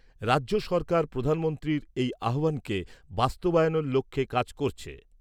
রাজ্য সরকার প্রধানমন্ত্রীর এই আহ্বানকে বাস্তবায়নের লক্ষ্যে কাজ করছে।